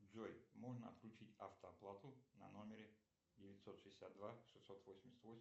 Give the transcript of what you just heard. джой можно отключить автооплату на номере девятьсот шестьдесят два шестьсот восемьдесят восемь